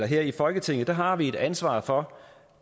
her i folketinget har vi et ansvar for